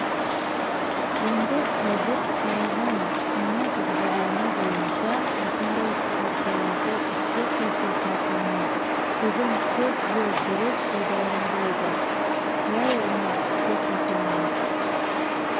енді қазір қараған жаңа бағдарлама бойынша осындай карталарды іске қосып жатырмыз бүгін көп жер дұрыс пайдаланбайды қалай оны іске қосамыз